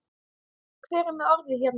Hver er með orðið hérna?